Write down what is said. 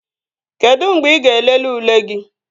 Kedụ mgbe ị ga-elele ule gị?